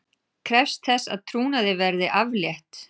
Krefst þess að trúnaði verði aflétt